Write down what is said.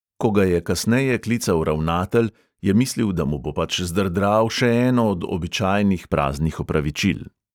Ko ga je kasneje klical ravnatelj, je mislil, da mu bo pač zdrdral še eno od običajnih praznih opravičil.